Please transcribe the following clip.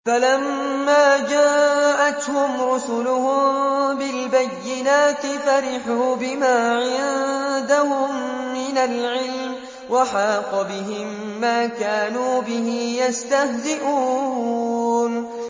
فَلَمَّا جَاءَتْهُمْ رُسُلُهُم بِالْبَيِّنَاتِ فَرِحُوا بِمَا عِندَهُم مِّنَ الْعِلْمِ وَحَاقَ بِهِم مَّا كَانُوا بِهِ يَسْتَهْزِئُونَ